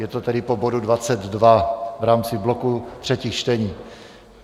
Je to tedy po bodu 22 v rámci bloku třetích čtení.